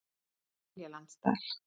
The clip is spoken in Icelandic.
Seljalandsdal